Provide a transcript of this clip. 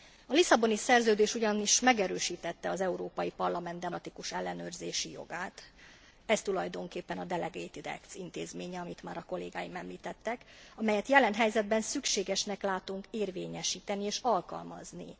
A Lisszaboni Szerződés ugyanis megerősítette az Európai Parlament demokratikus ellenőrzési jogát, ez tulajdonképpen a delegated act intézménye, amit már a kollégáim említettek, amelyet jelen helyzetben szükségesnek látunk érvényesíteni és alkalmazni.